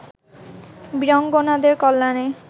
বীরাঙ্গনাদের কল্যাণে